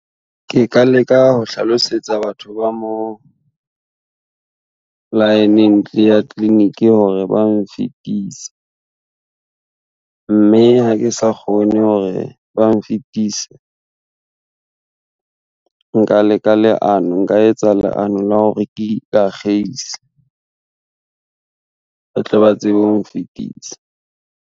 Ke ka leka ho hlalosetsa batho ba moo, laeneng ya clinic hore ba mfitise, mme ha ke sa kgone hore ba mfitise, nka leka leano nka etsa leano la hore ke ikakgeise, ba tle ba tsebe ho mfitisa.